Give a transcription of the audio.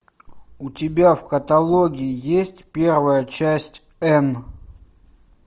у тебя в каталоге есть первая часть энн